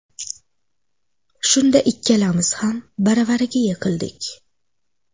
Shunda ikkalamiz ham baravariga yiqildik.